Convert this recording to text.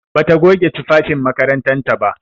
Bata goge tufafin makarantar ta ba.